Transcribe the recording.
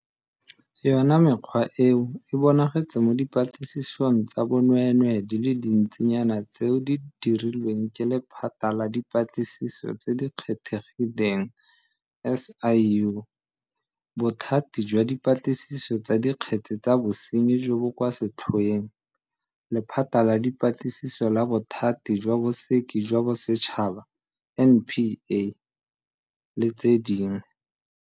Yona mekgwa eo e bonagetse mo dipatlisisong tsa bonweenwee di le dintsi nyana tseo di dirilweng ke Lephata la Dipatlisiso tse di Kgethegileng, SIU, Bothati jwa Dipatlisiso tsa Dikgetse tsa Bosenyi jo bo kwa Setlhoeng, Lephata la Dipatlisiso la Bothati jwa Bosekisi jwa Bosetšhaba, NPA, [, le tse dingwe.